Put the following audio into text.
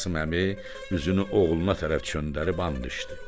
Qasım əmi üzünü oğluna tərəf çönərdi an içdi.